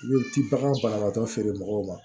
I bɛ ti baga banabagatɔ feere mɔgɔw ma